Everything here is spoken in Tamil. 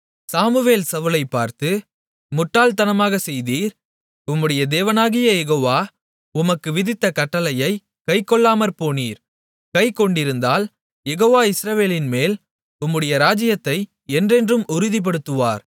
சாமுவேல் சவுலைப் பார்த்து முட்டாள் தனமாக செய்தீர் உம்முடைய தேவனாகிய யெகோவா உமக்கு விதித்த கட்டளையைக் கைக்கொள்ளாமற்போனீர் கைக்கொண்டிருந்தால் யெகோவா இஸ்ரவேலின்மேல் உம்முடைய ராஜ்ஜியத்தை என்றென்றும் உறுதிப்படுத்துவார்